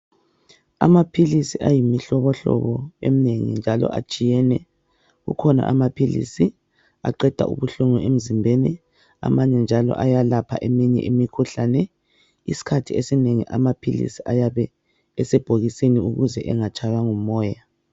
Amaphilisi ayimihlobohlobo eminengi njalo atshiyene, kukhona amaphilisi aqeda ubuhlungu emzimbeni amanye njalo ayalapha eminye imikhuhlane. Isikhathi esinengi amaphilisi ayabe esebhokisini ukuze engatshaywa ngumoya